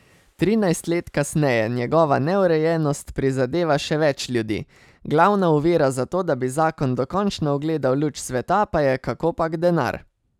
Trinajst let kasneje njegova neurejenost prizadeva še več ljudi, glavna ovira za to, da bi zakon dokončno ugledal luč sveta, pa je kakopak denar.